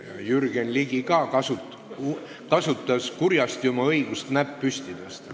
Ka Jürgen Ligi kasutas kurjasti oma õigust näpp püsti tõsta.